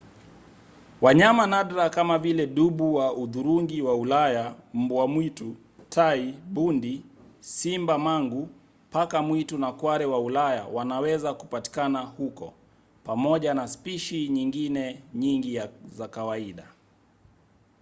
wanyama nadra kama vile dubu wa hudhurungi wa ulaya mbwa mwitu tai bundi simba-mangu paka mwitu na kware wa ulaya wanaweza kupatikana huko pamoja na spishi nyingine nyingi za kawaida